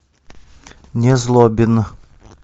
незлобин